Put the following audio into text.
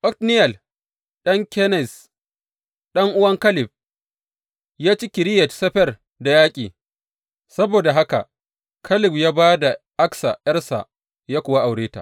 Otniyel ɗan Kenaz, ɗan’uwan Kaleb, ya ci Kiriyat Sefer da yaƙi; saboda haka Kaleb ya ba wa Aksa ’yarsa, ya kuwa aure ta.